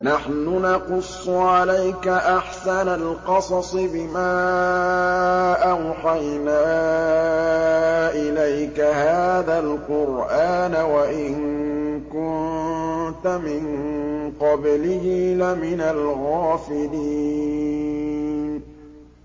نَحْنُ نَقُصُّ عَلَيْكَ أَحْسَنَ الْقَصَصِ بِمَا أَوْحَيْنَا إِلَيْكَ هَٰذَا الْقُرْآنَ وَإِن كُنتَ مِن قَبْلِهِ لَمِنَ الْغَافِلِينَ